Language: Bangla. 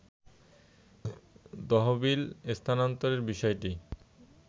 তহবিল স্থানান্তরের বিষয়টি